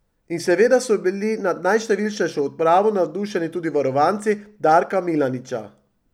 In seveda so bili nad najštevilčnejšo odpravo navdušeni tudi varovanci Darka Milaniča.